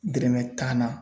Dɛrɛmɛ tan na